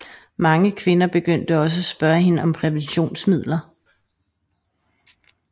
Mange kvinder begyndte også at spørge hende om præventionsmidler